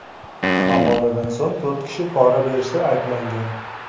Maqoladan so‘ng, to‘rt kishi pora berishda ayblangan .